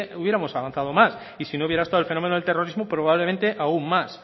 hubiéramos avanzado más y si no hubiera estado el fenómeno del terrorismo probablemente aún más